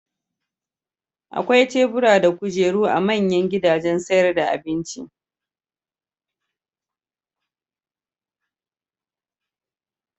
Akwai tebura da kujeru a manyan gidajen sayar da abinci.